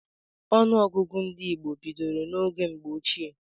Ọnụọgụgụ ndị Igbo bidoro n'oge mgbe ochie.